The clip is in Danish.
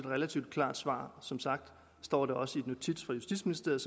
relativt klart svar som sagt står det også i notits fra justitsministeriet